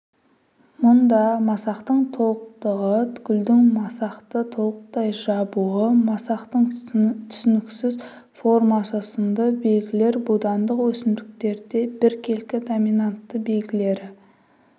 мұнда масақтың толықтығы гүлдің масақты толықтай жабуы масақтың түсініксіз формасы сынды белгілер будандық өсімдіктерде біркелкі доминантты белгілері